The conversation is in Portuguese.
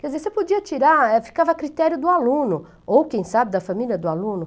Quer dizer, você podia tirar, ficava a critério do aluno, ou, quem sabe, da família do aluno.